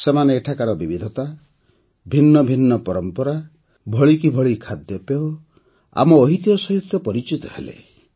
ସେମାନେ ଏଠାକାର ବିବିଧତା ଭିନ୍ନ ଭିନ୍ନ ପରମ୍ପରା ଭଳିକି ଭଳି ଖାଦ୍ୟପେୟ ଓ ଆମ ଐତିହ୍ୟ ସହ ପରିଚିତ ହେଲେ